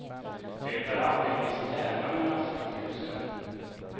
Det är alltid en viss tävlan mellan sjukhusen.